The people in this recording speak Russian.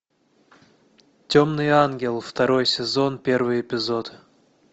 темный ангел второй сезон первый эпизод